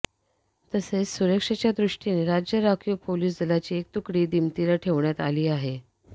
तसेच सुरक्षेच्या दृष्टीने राज्य राखीव पोलिस दलाची एक तुकडी दिमतीला ठेवण्यात आली आहे